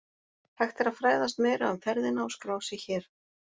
Hægt er að fræðast meira um ferðina og skrá sig hér